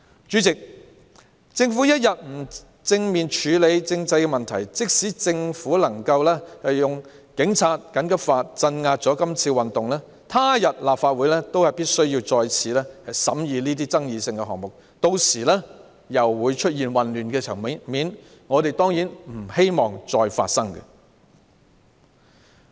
主席，政府不肯正面處理政制問題，即使政府能夠用警察及緊急法來鎮壓這次運動，他日立法會仍須再次審議這些具爭議性的事項，屆時又會出現混亂場面，我們當然不希望這種情況再次發生。